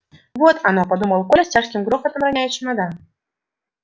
вот оно подумал коля с тяжким грохотом роняя чемодан